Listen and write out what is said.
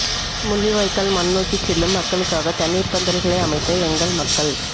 முள்ளிவாய்க்கால் மண் நோக்கிச் செல்லும் மக்களுக்காக தண்ணீர்ப் பந்தல்களை அமைத்த எங்கள் மக்கள்